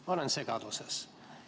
Ma olen segaduses.